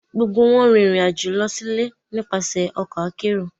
Gbogbo wọn rin irin ajo lọ si ile nipasẹ ọkọ akero